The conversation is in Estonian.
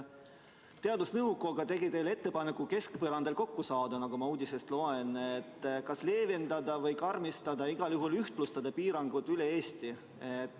Teadusnõukoda tegi teile ettepaneku keskpõrandal kokku saada, nagu ma uudisest loen, et kas leevendada või karmistada, igal juhul ühtlustada piiranguid üle Eesti.